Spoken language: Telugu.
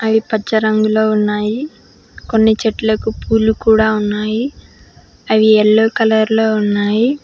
అవి పచ్చ రంగులో ఉన్నాయి కొన్ని చెట్లకు పూలు కూడా ఉన్నాయి అవి యెల్లో కలర్లో ఉన్నాయి.